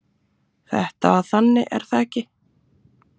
Þetta var þannig, er það ekki?